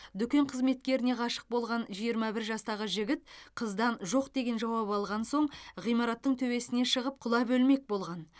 дүкен қызметкеріне ғашық болған жиырма бір жастағы жігіт қыздан жоқ деген жауап алған соң ғимараттың төбесіне шығып құлап өлмек болған